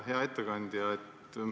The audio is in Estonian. Hea ettekandja!